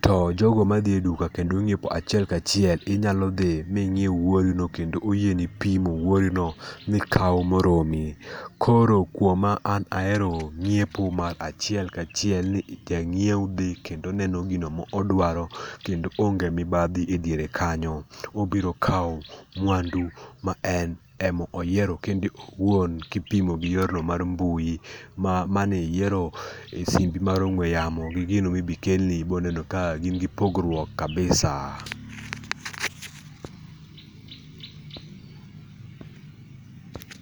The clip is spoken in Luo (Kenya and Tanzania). To jogo madhi e duka kendo nyiepo achiel kachiel, inyalo dhi miyier wuorino kendo oyieni pimo wuorino mikaw moromi. Koro kuoma an ahero nyiepo achiel kachiel, ni ja nyiewo dhi kendo neno gino ma odwaro kendo onge mibadhi e diere kanyo. Obiro kawo mwandu ma en ema oyiero en owuon kipimo gi yorno mar mbui ma maniyiero gi simbi mar ong'ue yamo gi gino ma ibi kelni ibo neno ka gin gi pogruok kabisa.